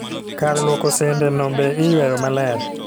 Kar luoko sende no be iyweyo maler